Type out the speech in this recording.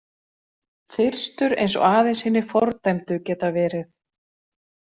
Þyrstur eins og aðeins hinir fordæmdu geta verið.